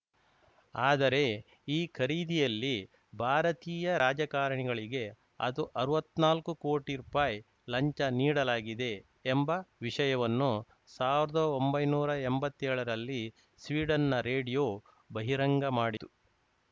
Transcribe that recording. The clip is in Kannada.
ಆದರೆ ಈ ಖರೀದಿಯಲ್ಲಿ ಭಾರತೀಯ ರಾಜಕಾರಣಿಗಳಿಗೆ ಅದು ಅರ್ವತ್ನಾಲ್ಕು ಕೋಟಿ ರೂಪಾಯಿ ಲಂಚ ನೀಡಲಾಗಿದೆ ಎಂಬ ವಿಷಯವನ್ನು ಸಾವಿರದ ಒಂಬೈನೂರಾ ಎಂಬತ್ತೇಳರಲ್ಲಿ ಸ್ವೀಡನ್‌ನ ರೇಡಿಯೋ ಬಹಿರಂಗ ಮಾಡಿತ್ತು